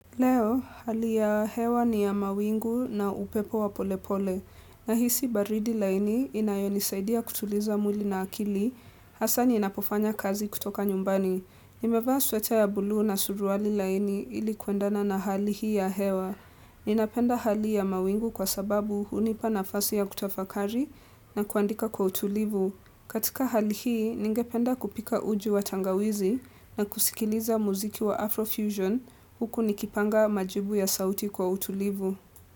Leo, hali ya hewa ni ya mawingu na upepo wa polepole. Nahisi baridi laini inayonisaidia kutuliza mwili na akili, hasa ninapofanya kazi kutoka nyumbani. Nimevaa sweta ya buluu na suruali laini ili kuendana na hali hii ya hewa. Ninapenda hali ya mawingu kwa sababu hunipa nafasi ya kutafakari na kuandika kwa utulivu. Katika hali hii, ningependa kupika uji wa tangawizi na kusikiliza muziki wa Afrofusion huku nikipanga majibu ya sauti kwa utulivu.